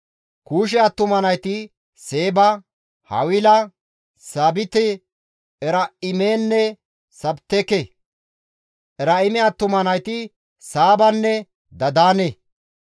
Kuushe attuma nayti Seeba, Hawila, Saabite, Eraa7imenne Sabiteka. Eraa7ime attuma nayti Saabanne Dadaane.